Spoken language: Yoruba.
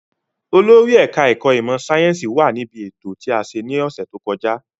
Olórí ẹ̀ka-ẹ̀kọ́ ìmọ̀-sáyẹ́ńsì wà níbí ètò tí a ní lọ́sẹ̀ tó kọjá.